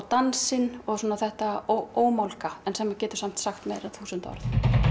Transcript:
dansinn og þetta ómálga sem getur samt sagt miklu meira en þúsund orð